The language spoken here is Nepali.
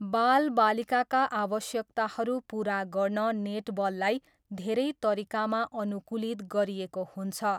बालबालिकाका आवश्यकताहरू पुरा गर्न नेटबललाई धेरै तरिकामा अनुकूलित गरिएको हुन्छ।